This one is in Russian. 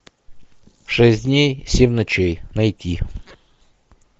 шесть дней семь ночей найти